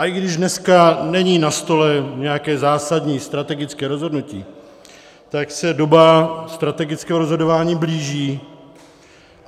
A i když dneska není na stole nějaké zásadní strategické rozhodnutí, tak se doba strategického rozhodování blíží.